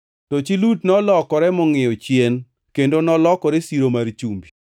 To chi Lut nolokore mongʼiyo chien, kendo nolokore siro mar chumbi.